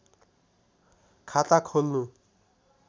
खाता खोल्नु